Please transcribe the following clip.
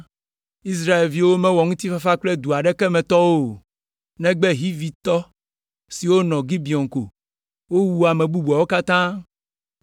Israelviwo mewɔ ŋutifafa kple du aɖeke me tɔwo o, negbe Hivitɔ siwo nɔ Gibeon ko. Wowu ame bubuawo katã,